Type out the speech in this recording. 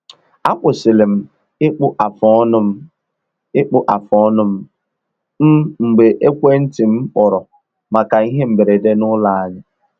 Akwụsịlị m ịkpụ afụ ọnụ ịkpụ afụ ọnụ m um mgbe ekwenti m kpọrọ maka ihe mberede n’ụlọ anyị